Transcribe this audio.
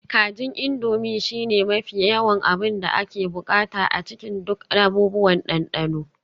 Kajin Indomie shine mafi yawan abin da ake buƙata a cikin duk abubuwan dandano